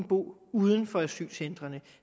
bo uden for asylcentrene